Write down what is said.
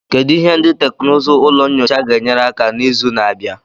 Kedu ihe ndị teknụzụ ụlọ nyocha ga-enyere aka na izu na-abịa?